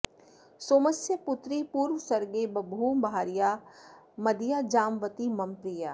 सोमस्य पुत्री पूर्वसर्गे बभूव भार्या मदीया जाम्बवती मम प्रिया